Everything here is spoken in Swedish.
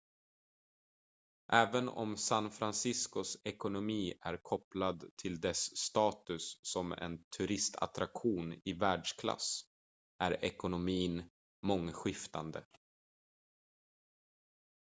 även om san franciscos ekonomi är kopplad till dess status som en turistattraktion i världsklass är ekonomin mångskiftande